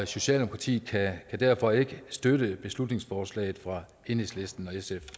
socialdemokratiet kan derfor ikke støtte beslutningsforslaget fra enhedslisten